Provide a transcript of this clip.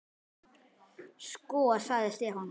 Sko. sagði Stefán.